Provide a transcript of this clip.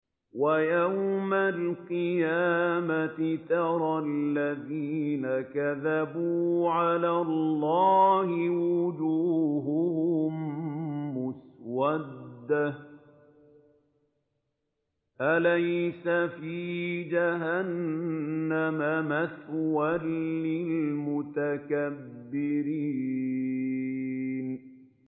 وَيَوْمَ الْقِيَامَةِ تَرَى الَّذِينَ كَذَبُوا عَلَى اللَّهِ وُجُوهُهُم مُّسْوَدَّةٌ ۚ أَلَيْسَ فِي جَهَنَّمَ مَثْوًى لِّلْمُتَكَبِّرِينَ